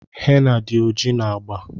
henna did oji na agba.